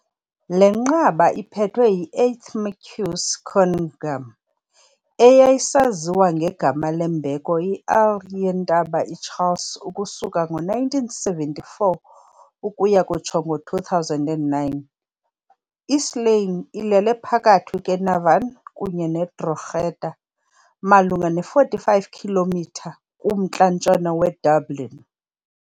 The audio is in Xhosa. Le nqaba iphethwe yi -8th Marquess Conyngham, eyayisaziwa ngegama lembeko i- Earl yeNtaba iCharles ukusuka ngo-1974 ukuya kutsho ngo-2009. I-Slane ilele phakathi kweNavan kunye neDrogheda, malunga ne-45 km kumntla-ntshona weDublin.